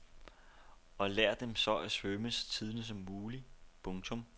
Og lær dem så at svømme så tidligt som muligt. punktum